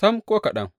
Sam, ko kaɗan!